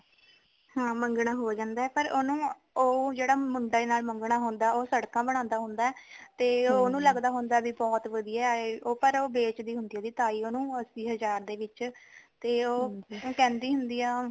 ਹਾਂ ਮੰਗਣਾਂ ਹੋ ਜਾਂਦਾ ਪਰ ਉਹਨੂੰ ਉਹ ਜਿਹੜੇ ਮੁੰਡੇ ਨਾਲ ਮੰਗਨਾਂ ਹੁੰਦਾ ਉਹ ਸੜਕਾਂ ਬਨਾਉਂਦਾ ਹੁੰਦਾ ਉਹਨੂੰ ਲੱਗਦਾ ਉਹ ਬਹੁਤ ਵਧੀਆ ਏ ਪਰ ਉਹ ਵੇਚਦੀ ਹੁੰਦੀ ਆ ਉਹਦੀ ਤਾਈਂ ਉਹਨੂੰ ਅੱਸੀ ਹਜ਼ਾਰ ਦੇ ਵਿੱਚ ਤੇ ਉਹ ਕਹਿੰਦੀ ਹੁੰਦੀ ਆ